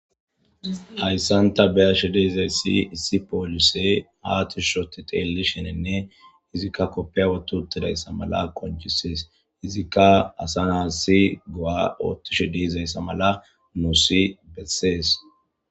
Hayssan ta xeellizayssi issi poolisey haa tishshi ootti xeellishininne izikka koppiya wotti uttidayssa mala qonccises. Izikka asa na'as go'a ottishe de'izayssa mala nuusi besses.